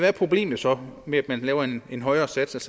er problemet så med at man laver en højere sats